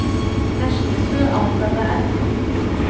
Næstu tvö ár verða erfið?